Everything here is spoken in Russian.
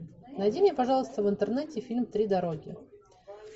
найди мне пожалуйста в интернете фильм три дороги